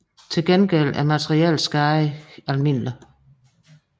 Til gengæld er materiel skade almindelig